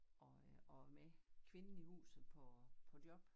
Og øh og med kvinden i huset på på job